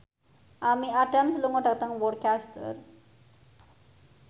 Amy Adams lunga dhateng Worcester